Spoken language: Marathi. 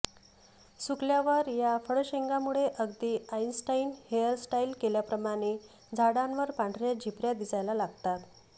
सुकल्यावर या फळशेंगांमुळे अगदी आइनस्टाइन हेअर स्टाइल केल्याप्रमाणे झाडावर पांढऱ्या झिपऱ्या दिसायला लागतात